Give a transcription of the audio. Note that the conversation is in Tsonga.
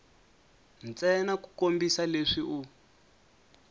ntsena ku kombisa leswi u